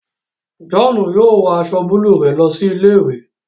John yóò wọ aṣọ buluu rẹ lọ sí ilé-ìwé